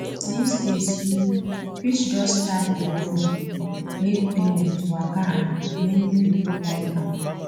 these days you fit just tap your phone make payment waka and many people like am